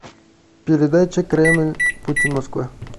передача кремль путин москва